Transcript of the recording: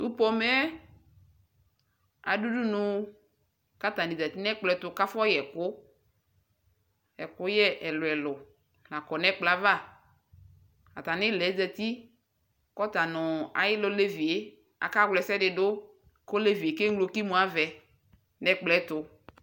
Tu pomɛɛ adu udunu katani ƶati nɛkplɔɛtu kafɔyɛku Ɛkugɛ ɛluɛlu la kafɔyɛAtamiulɛ ƶati kɔta nu ayilɛ olevie akawla ɛsɛdu kolevie keŋlo kimuavɛ nɛkplɔɛtu